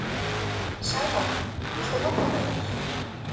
Sævarr, viltu hoppa með mér?